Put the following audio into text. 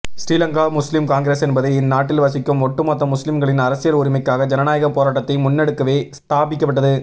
ஸ்ரீலங்கா முஸ்லிம் காங்கிரஸ் என்பது இந்நாட்டில் வசிக்கும் ஓட்டு மொத்த முஸ்லிம்களின் அரசியல் உரிமைக்காக ஜனநாயக போராட்டத்தை முண்னெடுக்கவே ஸ்தாபிக்கப்பட்டது